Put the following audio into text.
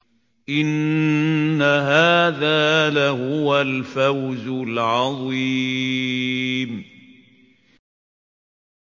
إِنَّ هَٰذَا لَهُوَ الْفَوْزُ الْعَظِيمُ